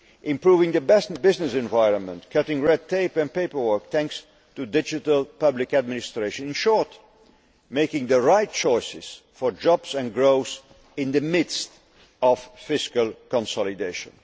Improving the business environment, cutting red tape and paperwork thanks to digital public administration. In short, making the right choices for jobs and growth in the midst of fiscal consolidation.